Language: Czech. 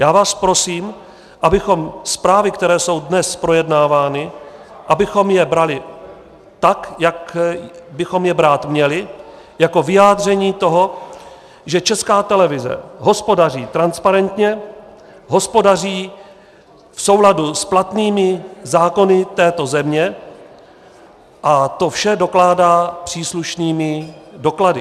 Já vás prosím, abychom zprávy, které jsou dnes projednávány, abychom je brali tak, jak bychom je brát měli, jako vyjádření toho, že Česká televize hospodaří transparentně, hospodaří v souladu s platnými zákony této země, a to vše dokládá příslušnými doklady.